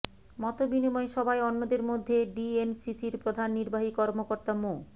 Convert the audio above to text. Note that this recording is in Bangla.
মতবিনিময় সভায় অন্যদের মধ্যে ডিএনসিসির প্রধান নির্বাহী কর্মকর্তা মো